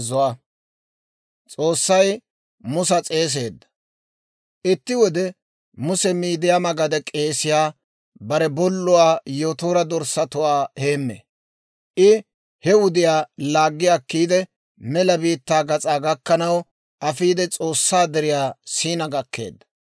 Itti wode Muse Miidiyaama gade k'eesiyaa, bare bolluwaa Yotoora dorssatuwaa heemmee; I he wudiyaa laaggi akkiide mela biittaa gas'aa gakkanaw afiide S'oossaa Deriyaa Siina gakkeedda.